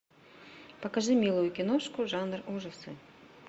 покажи милую киношку жанр ужасы